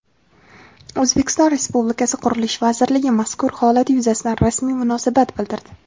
O‘zbekiston Respublikasi Qurilish vazirligi mazkur holat yuzasidan rasmiy munosabat bildirdi.